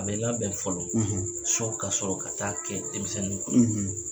A bɛ labɛn fɔlɔ, ,so ka sɔrɔ ka taa kɛ denmisɛnninw kun,